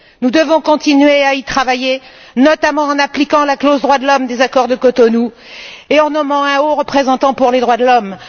Nous devons continuer à y travailler notamment en appliquant la clause droits de l'homme des accords de Cotonou et en nommant un haut représentant pour les droits de l'homme.